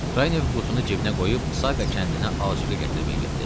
Kranyev qutunu cibinə qoyub Saqa kəndinə Aqa gətirməyə getdi.